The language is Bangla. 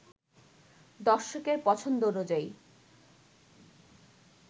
দর্শকের পছন্দ অনুযায়ী